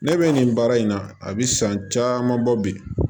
Ne bɛ nin baara in na a bɛ san caman bɔ bi